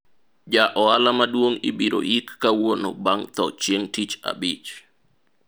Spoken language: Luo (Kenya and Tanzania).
ja ohala maduong' ibiro yik kawuono bang' tho chieng' tich abich